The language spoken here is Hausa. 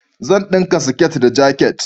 Zan dinka siket da jakit